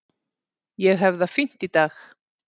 Ég hef það fínt í dag.